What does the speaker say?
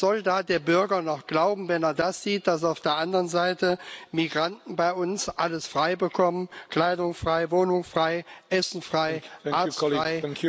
Was soll da der Bürger noch glauben, wenn er sieht, dass auf der anderen Seite Migranten bei uns alles frei bekommen Kleidung frei, Wohnung frei, Essen frei, Arzt frei